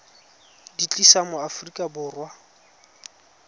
di tlisa mo aforika borwa